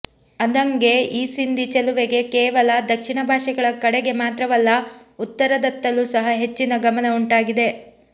ಅಂದಂಗೆ ಈ ಸಿಂಧಿ ಚೆಲುವೆಗೆ ಕೇವಲ ದಕ್ಷಿಣ ಭಾಷೆಗಳ ಕಡೆಗೆ ಮಾತ್ರವಲ್ಲ ಉತ್ತರದತ್ತಲು ಸಹ ಹೆಚ್ಚಿನ ಗಮನ ಉಂಟಾಗಿದೆ